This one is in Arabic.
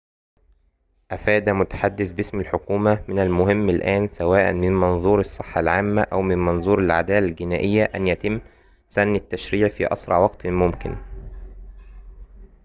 أفاد متحدثٌ باسم الحكومة من المهم الآن سواءً من منظور الصّحة العامّة أو من منظور العدالة الجنائية أن يتمّ سنّ التّشريع في أسرع وقتٍ ممكنٍ